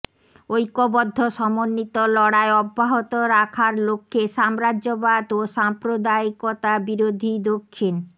ঐক্যবদ্ধ সমন্বিত লড়াই অব্যাহত রাখার লক্ষ্যে সাম্রাজ্যবাদ ও সাম্প্রদায়িকতা বিরোধী দক্ষিণ